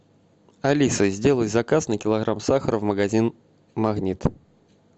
алиса сделай заказ на килограмм сахара в магазин магнит